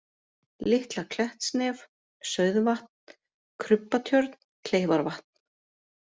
Litla-Klettsnef, Sauðvatn, Krubbatjörn, Kleifarvatn